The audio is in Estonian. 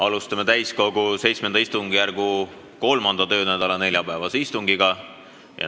Alustame täiskogu VII istungjärgu 3. töönädala neljapäevast istungit.